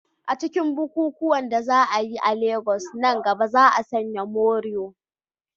A cikin bukukuwan da za a yi a Legas nan gaba, za a sanya morìwò.